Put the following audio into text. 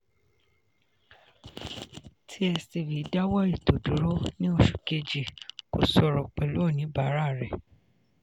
tstv dáwọ́ ètò dúró ní oṣù kejì kò sọ̀rọ̀ pẹ̀lú oníbàárà rẹ̀.